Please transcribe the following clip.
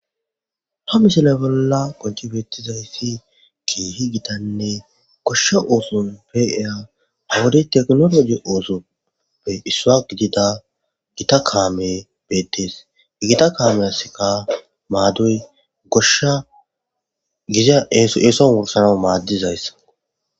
Ha misile bolla konchi beettizayssi kiehi gitanne goshshe ooson peia hawodi teknoloji oosoppe issua gidida gita kaame beettees gita kaameya sika maadoy goshsha giza eeso worsana maaddizayss.